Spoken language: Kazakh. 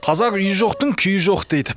қазақ үйі жоқтың күйі жоқ дейді